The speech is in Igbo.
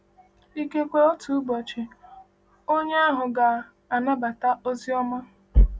Ikekwe otu ụbọchị, onye ahụ ga-anabata ozi ọma.